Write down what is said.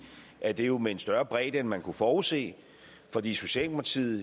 at det jo er med en større bredde end man kunne have forudset fordi socialdemokraterne i